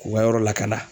K'u ka yɔrɔ lakana